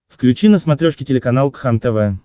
включи на смотрешке телеканал кхлм тв